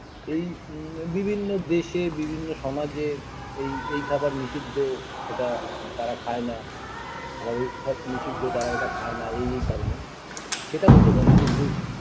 এই ম বিভিন্ন দেশে বিভিন্ন সমাজে এই এই খাবার নিষিদ্ধ ওটা তারা খায়না আবার ঐ খাবার নিষিদ্ধ তারা এটা খায়না এই এই কারণে সেটা হতে পারে কিন্তু